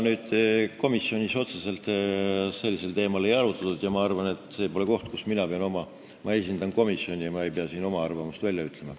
Komisjonis otseselt sellisel teemal ei arutletud ja ma esindan komisjoni, ma ei pea siin oma arvamust välja ütlema.